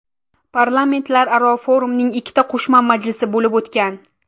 Parlamentlararo forumning ikkita qo‘shma majlisi bo‘lib o‘tgan.